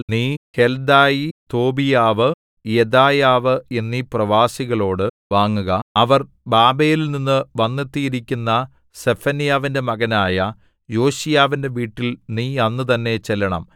നീ ഹെല്ദായി തോബീയാവ് യെദായാവ് എന്നീ പ്രവാസികളോടു വാങ്ങുക അവർ ബാബേലിൽനിന്നു വന്നെത്തിയിരിക്കുന്ന സെഫന്യാവിന്റെ മകനായ യോശീയാവിന്റെ വീട്ടിൽ നീ അന്ന് തന്നെ ചെല്ലണം